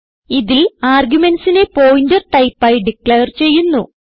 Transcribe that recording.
ഇതിൽ argumentsനെ pointer type ആയി ഡിക്ലയർ ചെയ്യുന്നു